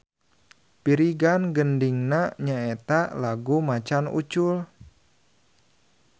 Pirigan gendingna nya eta lagu Macan Ucul.